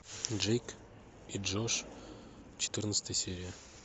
джейк и джош четырнадцатая серия